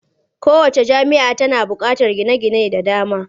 Kowacce jami'a tana buƙatar gine-gine da dama.